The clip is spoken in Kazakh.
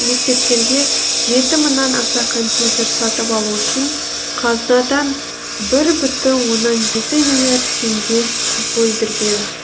мектептерге жеті мыңнан аса компьютер сатып алу үшін қазынадан бір бүтін оннан жеті миллиард теңге бөлдірген